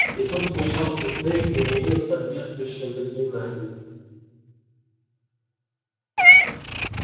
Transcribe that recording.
и тут вмешался снегг применил соответствующее заклинание